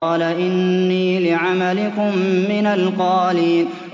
قَالَ إِنِّي لِعَمَلِكُم مِّنَ الْقَالِينَ